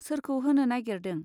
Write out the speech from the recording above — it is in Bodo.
सोरखौ होनो नागिरदों.